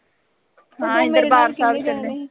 ਹਾਂ ਅਸੀਂ ਦਰਬਾਰ ਸਾਹਿਲ ਚੱਲੇ ਸੀ।